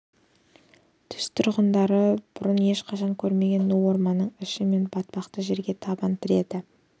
түз тұрғындары бұрын ешқашан көрмеген ну орманның іші мен батпақты жерге табан тіреді